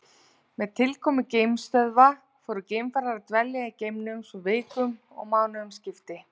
Með tilkomu geimstöðva fóru geimfarar að dvelja í geimnum svo vikum og mánuðum skipti.